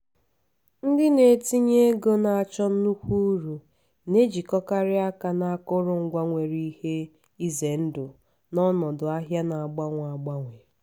ndị na-etinye ego na-achọ nnukwu uru na-ejikọkarị aka na akụrụngwa nwere ihe ize ndụ n'ọnọdụ ahịa na agbanwe agbanwe.